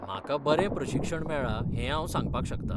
म्हाका बरें प्रशिक्षण मेळ्ळां हे हांव सांगपाक शकता.